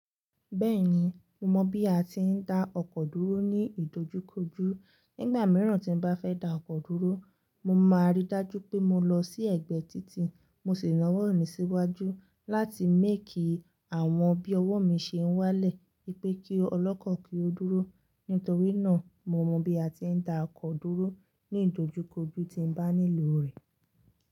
Bẹ́ẹ̀ni, mo mọ̀ bí a ti ń da ọkọ̀ dúró ní ìdojúkojú. Nígbà mìíràn tí n bá fẹ́ da ọkọ̀ dúró, mo máa rí dájú pé mo lọ sí ẹ̀gbẹ́ títì. Mo sì náa wọ́ mì síwájú láti máke àwọn bí ọwọ́ mi ṣe ń wálẹ̀. Pékí ọlọ́kọ̀ kí ó dúró. Nítorí náà, mo mọ bí a ti ń da ọkọ̀ dúró ní ìdojúkojú tí n bá nílò rẹ̀.